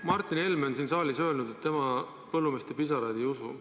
Martin Helme on siin saalis öelnud, et tema põllumeeste pisaraid ei usu.